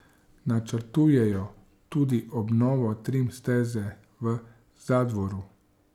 Načrtujejo tudi obnovo trim steze v Zadvoru.